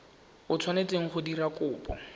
o tshwanetseng go dira kopo